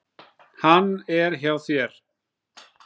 Hann er hjá þér.